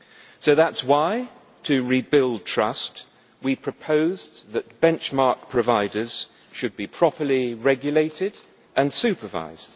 So that is why, to rebuild trust, we proposed that benchmark providers should be properly regulated and supervised